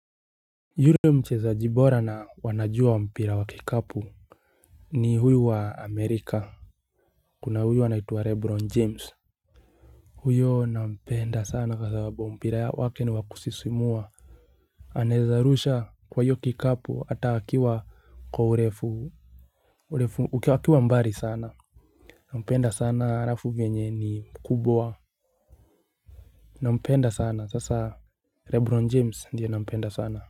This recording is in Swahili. Yule mchezaji bora na wanajua mpira wa kikapu ni huyu wa amerika kuna huyu anaitwa rebron james huyo nampenda sana kwa sababu mpira wake ni wakusisimua anaeza rusha kwa hiyo kikapu hata akiwa kwa urefu urefu akiwa mbali sana nampenda sana alafu venye ni mkubwa nampenda sana sasa rebron james ndiyo nampenda sana.